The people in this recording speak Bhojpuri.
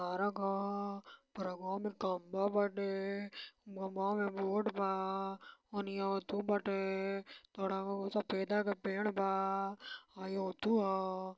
पारक ह| पारकवा में खम्बा बाटे| खम्बावा में बोर्ड बा| ओनिया अथु बाटे| थोड़ा बहुत सफेदा क पेड़ बा| आ ई अथु ह|